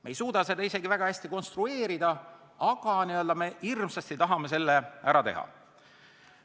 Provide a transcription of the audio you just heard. Me ei suuda seda isegi väga hästi konstrueerida, aga me hirmsasti tahame selle ära teha.